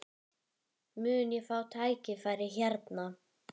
Mun ég fá tækifæri hérna?